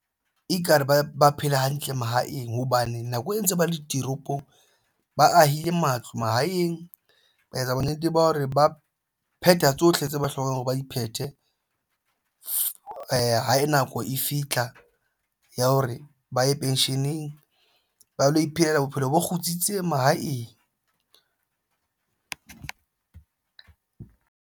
Ekare ba phele hantle mahaeng hobane nako e ntse ba le ditoropong ba ahile matlo mahaeng ba etsa bonnete ba hore ba phetha tsohle tse ba hlokang hore ba di phethe ha nako e fitlha ya hore ba ye pensheneng ba lo iphelela bophelo bo kgutsitseng mahaeng.